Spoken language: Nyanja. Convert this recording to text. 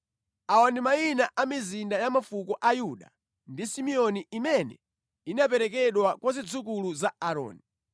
Awa ndi mayina a mizinda ya mafuko a Yuda ndi Simeoni imene inaperekedwa kwa zidzukulu za Aaroni,